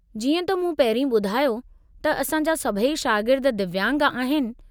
जीअं त मूं पहिरीं ॿुधायो त असां जा सभई शागिर्द दिव्यांग आहिनि।